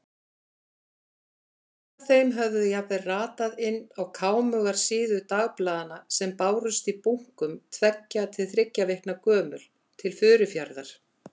Myndir af þeim höfðu jafnvel ratað inn á kámugar síður dagblaðanna sem bárust í bunkum, tveggja til þriggja vikna gömul, til Furufjarðar.